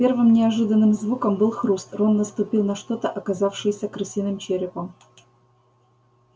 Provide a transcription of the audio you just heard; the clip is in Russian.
первым неожиданным звуком был хруст рон наступил на что-то оказавшееся крысиным черепом